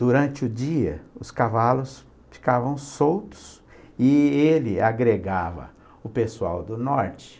Durante o dia, os cavalos ficavam soltos e e ele agregava o pessoal do norte.